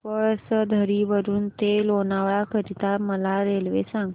पळसधरी वरून ते लोणावळा करीता मला रेल्वे सांगा